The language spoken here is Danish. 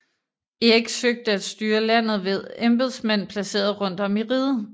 Erik søgte at styre landet ved embedsmænd placeret rundt om i riget